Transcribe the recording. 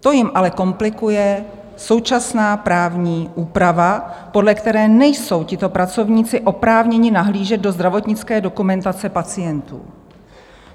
To jim ale komplikuje současná právní úprava, podle které nejsou tito pracovníci oprávněni nahlížet do zdravotnické dokumentace pacientů.